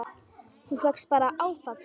Þú fékkst bara áfall!